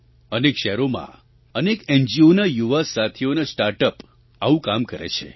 અનેક શહેરોમાં અનેક એનજીઓના યુવા સાથીઓનાં સ્ટાર્ટ અપ આવું કામ કરે છે